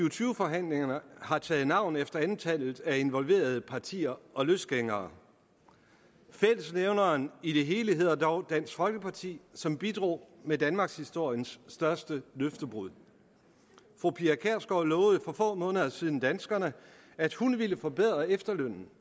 og tyve forhandlingerne har taget navn efter antallet af involverede partier og løsgængere fællesnævneren i det hele hedder dog dansk folkeparti som bidrager med danmarkshistoriens største løftebrud fru pia kjærsgaard lovede for få måneder siden danskerne at hun ville forbedre efterlønnen